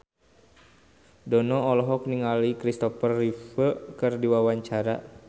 Dono olohok ningali Kristopher Reeve keur diwawancara